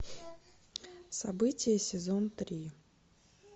события сезон три